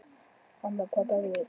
Hanna, hvaða dagur er í dag?